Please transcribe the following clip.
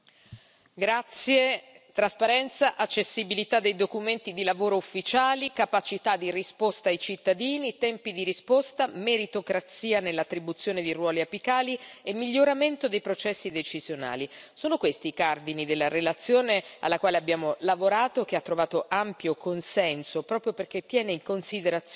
Signor Presidente, onorevoli colleghi, trasparenza, accessibilità dei documenti di lavoro ufficiali, capacità di risposta ai cittadini, tempi di risposta, meritocrazia nell'attribuzione di ruoli apicali e miglioramento dei processi decisionali sono questi i cardini della relazione alla quale abbiamo lavorato, che ha trovato ampio consenso proprio perché tiene in considerazione